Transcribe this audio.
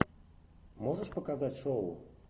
можешь показать шоу